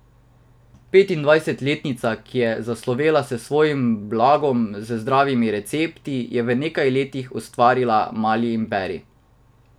Petindvajsetletnica, ki je zaslovela s svojim blogom z zdravimi recepti, je v nekaj letih ustvarila mali imperij.